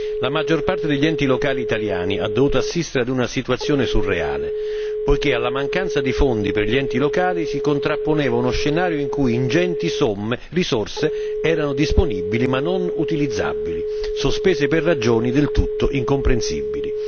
La maggior parte degli enti locali italiani ha dovuto assistere a una situazione surreale, poiché alla mancanza di fondi per gli enti locali si contrapponeva uno scenario in cui ingenti risorse erano disponibili ma non utilizzabili, sospese per ragioni del tutto incomprensibili.